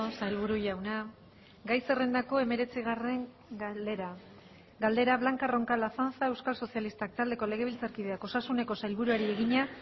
sailburu jauna gai zerrendako hemeretzigarren galdera galdera blanca roncal azanza euskal sozialistak taldeko legebiltzarkideak osasuneko sailburuari egina